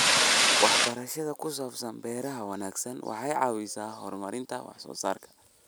Waxbarashada ku saabsan beeraha wanaagsan waxay caawisaa horumarinta wax soo saarka.